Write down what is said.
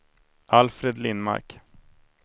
Alfred Lindmark